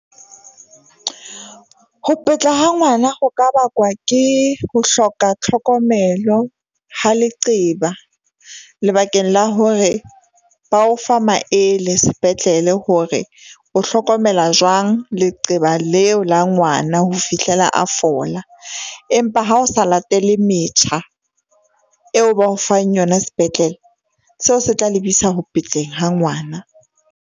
Ho ha ngwana ho ka bakwa ke ho hloka tlhokomelo ha leqeba, lebakeng la hore ba o fa maele sepetlele hore o hlokomela jwang leqeba leo la ngwana ho fihlela a fola. Empa ha o sa latele metjha eo ba o fang yona sepetlele, seo se tla lebisa ho ha ngwana.